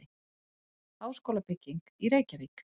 Háskólabygging í Reykjavík.